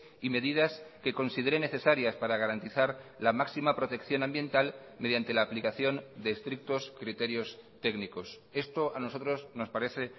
y medidas que considere necesarias para garantizar la máxima protección ambiental mediante la aplicación de estrictos criterios técnicos esto a nosotros nos parece